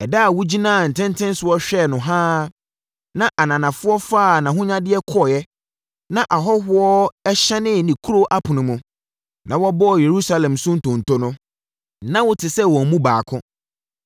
Ɛda a wogyinaa ntentenso hwɛɛ no haa, na ananafoɔ faa nʼahonyadeɛ kɔeɛ na ahɔhoɔ hyɛnee ne kuro apono mu, na wɔbɔɔ Yerusalem so ntonto no, na wote sɛ wɔn mu baako.